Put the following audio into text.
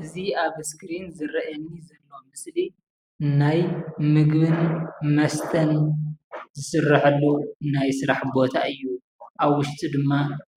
አዚ ኣብ አስክሪን ዝረኣየኒ ዘሎ ምስሊ ናይ ምግብን መስተን ዝስረሐሉ ናይ ስራሕ ቦታ እዩ ኣብ ዉሽጡ ድማ